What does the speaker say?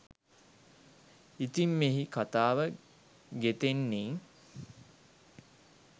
ඉතිං මෙහි කතාව ගෙතෙන්නේ